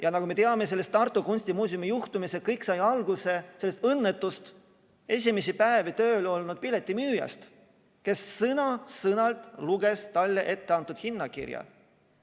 Ja nagu me teame sellest Tartu Kunstimuuseumi juhtumist, sai kõik alguse sellest õnnetust, esimesi päevi tööl olnud piletimüüjast, kes sõna-sõnalt luges talle ette antud hinnakirja.